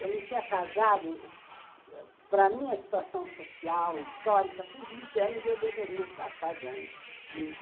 Eu não tinha casado... Para a minha situação social, histórica, com vinte anos, eu deveria estar casando.